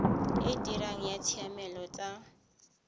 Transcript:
e dirang ya ditshiamelo tsa